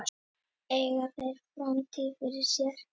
Eiga þeir framtíð fyrir sér?